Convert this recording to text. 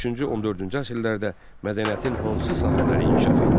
13-cü, 14-cü əsrlərdə mədəniyyətin hansı sahələri inkişaf etdi?